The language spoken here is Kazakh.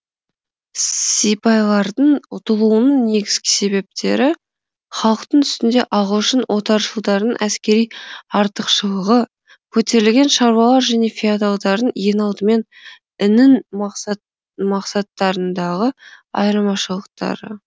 сипайлардың ұтылуының негізгі себептері халықтың үстінде ағылшын отаршылдарының әскери артықшылығы көтерілген шаруалар және феодалдардың ең алдымен інің мақсаттарындағы айырмашылықтары